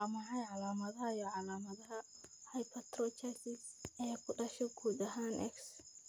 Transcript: Waa maxay calaamadaha iyo calaamadaha Hypertrichosis ee ku dhasha guud ahaan X.